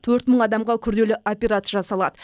төрт мың адамға күрделі операция жасалады